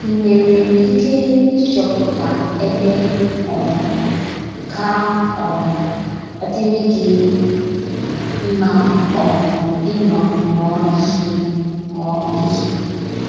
I nwere ike ịchọpụta ebe um ga - um adịrị gị mma um ịnọ mụọ ihe. mụọ ihe.